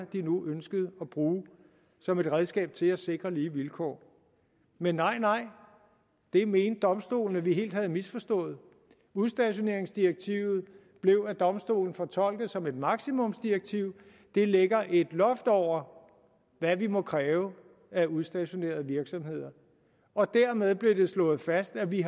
de nu ønskede at bruge som et redskab til at sikre lige vilkår men nej nej det mente domstolen vi helt havde misforstået udstationeringsdirektivet blev af domstolen fortolket som et maksimumsdirektiv det lægger et loft over hvad vi må kræve af udstationerede virksomheder og dermed blev det slået fast at vi